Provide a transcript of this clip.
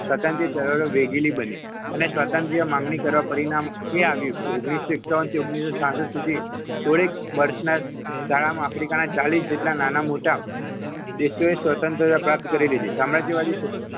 સ્વતંત્ર ચળવળો વેગીલી બની અને સ્વતંત્ર માગણી કરવા પરિણામે એ આવ્યું ઓગણીસો એકાવન થી ઓગણીસોછાસઠ સુધી થોડીક વર્ષોના ગાળામાં આફ્રિકાના ચાલીસ જેટલા નાના-મોટા દેશોએ સ્વતંત્ર પ્રાપ્ત કરી લીધી સામ્રાજ્યવાદી